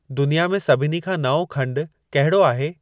दुनिया में सभिनी खां नओं खंडु कहिड़ो आहे